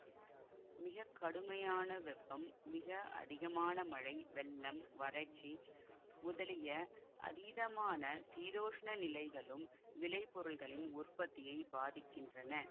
மிக கடுமையான வெப்பம் மிக அதிகமான மழை வெள்ளம் வறட்சி முதலிய அதீதமான சீதோஷ்ண நிலைகளும் விளைபொருள்களின் உற்பத்தியை பாதிக்கின்றன